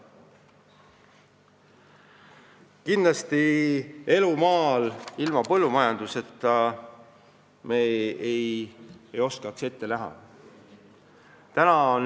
Kindlasti elu maal ilma põllumajanduseta me ette ei kujuta.